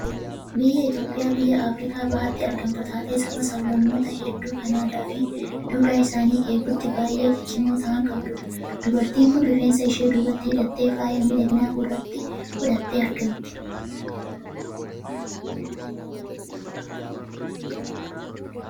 Biyyi Itoophiyaa biyya Afirikaa Bahaatti argamtu taatee, sabaa sab-lammoota hedduu kan aadaa fi duudhaa isaanii eeguutti baay'ee ciccimoo ta'an qabdudha. Dubartiin kun rifeensa ishee duubatti hidhattee, faaya miidhaginaa gurratti godhattee argamti.